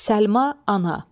Səlma, Ana.